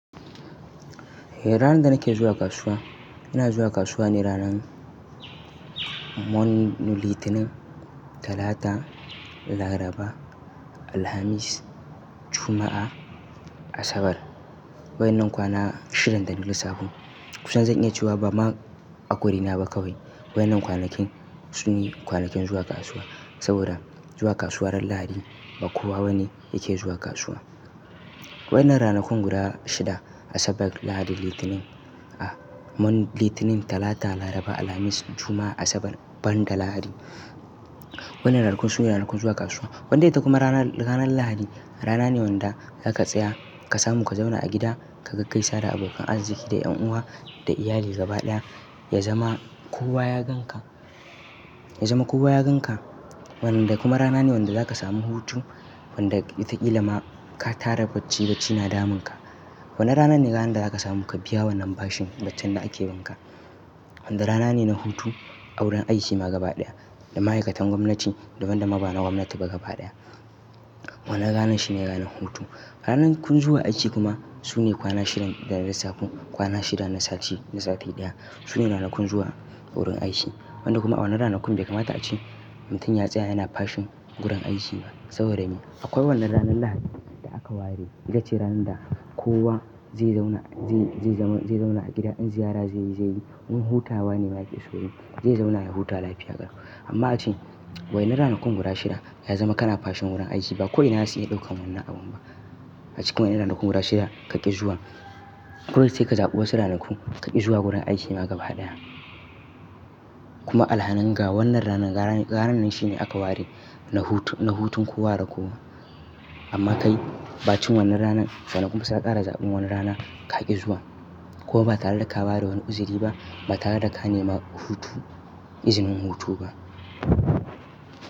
Ni ranar da nake zuwa kasuwa, ina zuwa kasuwa ne ranar Litinin, Talata, Laraba, Alhamis, Juma'a, Asabar. Waɗannan kwana shidan da na lissafo, kusan zan iya cewa ba ma a ƙwarina ba kawai, waɗannan kwanakin su ne kwanakin zuwa kasuwa. Saboda zuwa kasuwa ran Lahadi ba kowa bane yake zuwa kasuwa. Wannan ranakun guda shida Asabar, Lahadi, Litinin, Litinin, Talata, Laraba, Alhamis, Juma'a, Asabar ban da Lahadi, wannan ranakun su ne ranakun zuwa kasuwa. Wanda ita kuma rana, ranar Lahadi rana ne wanda za ka tsaya ka samu ka zauna a gida ka ga kai sada abokan arziki da ƴan uwa da iyali gaba ɗaya. Ya zama kowa ya gan ka, ya zama kowa ya gan ka. Wan da kuma rana ne wanda za ka samu hutu, wanda ita ƙila ma ka tara bacci bacci na damun ka. Wannan rana ne ranar da za ka samu ka biya wannan bashin da ake bin ka. Wanda rana ne na hutu a wurin aiki ma gaba ɗaya. Da ma'aikatan gwamnati, da wanda ma ba na gwamnati ba gaba ɗaya. Wannan ranar shi ne ranar hutu. Ranakun zuwa aiki kuma su ne kwana shidan da na lissafo. Kwana shida na sati, na sati ɗaya. Su ne ranakun zuwa wurin aiki. Wanda kuma a wannan ranakun bai kamata a ce mutum ya tsaya yana bashin gudan aiki saboda me? Akwai wannan ranar Lahadi da aka ware ita ce ranar da kowa zai zauna, zai, zai zauna, zai zauna a gida, in ziyara zai yi, zai yi. In hutawa ne ma ake so yi. Zai zauna ya huta lafiya gara. Amma a ce waɗannan ranakun guda shida ya zama kana bashin wurin aiki ba ko ina za su iya ɗaukan wannan abun ba. A cikin waɗannan ranakun guda shida ka ƙi zuwa. Kuma sai ka zaɓi wasu ranaku ka ƙi zuwa wurin aiki ma gaba ɗaya. Kuma alhanin ga wannan ranar, ranar, ranar shi ne aka ware na hut, na hutun kowa de kowa. Amma kai ba cikin wannan ranan, ranakun ba za ka ƙara zaɓin wani rana ka ƙi zuwa. Ko ba ka zo ka bada wani iziri ba, ba kaje ka nema hutu, izinin hutu ba.